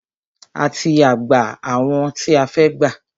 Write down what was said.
A ti gbà àwọn tí a fẹ́ gbà.